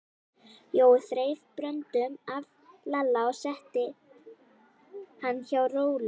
Jói þreif Bröndu af Lalla og setti hana hjá Rolu.